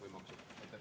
Aitäh!